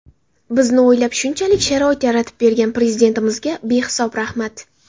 Bizni o‘ylab shunchalik sharoit yaratib bergan Prezidentimizga behisob rahmat.